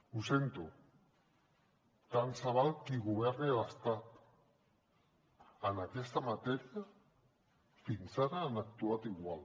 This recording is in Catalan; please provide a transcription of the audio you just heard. ho sento tant se val qui governi a l’estat en aquesta matèria fins ara han actuat igual